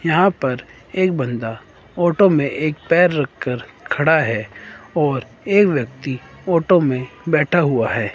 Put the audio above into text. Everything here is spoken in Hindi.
यहां पर एक बंदा ऑटो में एक पैर रखकर खड़ा है और एक व्यक्ति ऑटो में बैठा हुआ है।